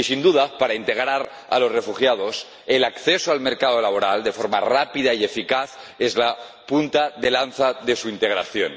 Y, sin duda, para integrar a los refugiados, el acceso al mercado laboral, de forma rápida y eficaz, es la punta de lanza de la integración.